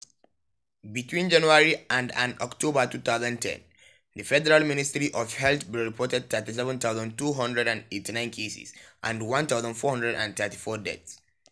between january and and october 2010 di federal ministry of health bin report 37289 cases and 1434 deaths.